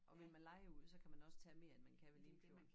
Og vil man leje ud så kan man også tage mere end man kan ved Limfjorden